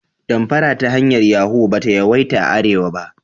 Damfara ta hanyar Yahu ba ta yawaita a arewa ba.